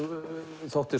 þótti